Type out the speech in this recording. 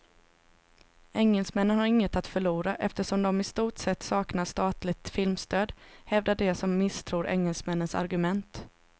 Engelsmännen har inget att förlora eftersom de i stort sett saknar statligt filmstöd, hävdar de som misstror engelsmännens argument.